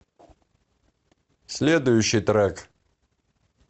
следующий трек